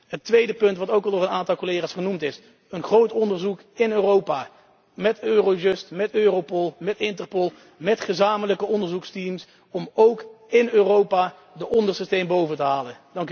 Het tweede voorstel wat ook al door een aantal collega's genoemd is een groot onderzoek in Europa met Eurojust, met Europol, met Interpol, met gezamenlijke onderzoeksteams, om ook in Europa de onderste steen boven te halen.